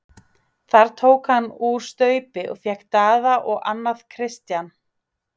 Þar tók hann úr staup og fékk Daða og annað Christian.